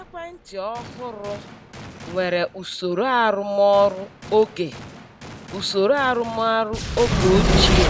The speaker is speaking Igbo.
Ekwentị ọhụrụ nwere usoro arụmọrụ oge usoro arụmọrụ oge ochie